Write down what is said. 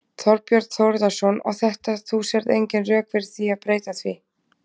Þorbjörn Þórðarson: Og þetta, þú sérð engin rök fyrir því að breyta því?